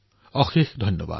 অশেষ ধন্যবাদ